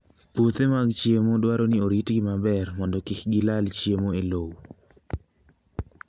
Puothe mag cham dwaro ni oritgi maber mondo kik gilal chiemo e lowo.